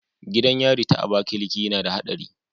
Gidan yari ta abakaliki nada hatsari